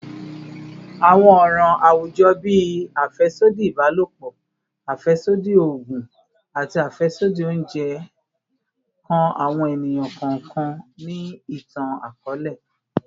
Awọn ọran awujọ bii afẹsodi ibalopọ, afẹsodi oogun, ati afẹsodi ounjẹ kan awọn eniyan kọọkan ni itan-akọọlẹ